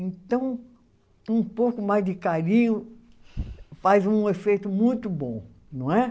Então, um pouco mais de carinho faz um efeito muito bom, não é?